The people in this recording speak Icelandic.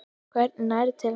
Hvernig nærðu til hennar?